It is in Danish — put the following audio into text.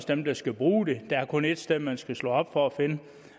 dem der skal bruge det der er kun ét sted man skal slå op for at finde